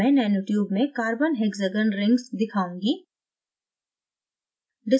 अब मैं nanotube में carbon hexagon rings दिखाऊँगी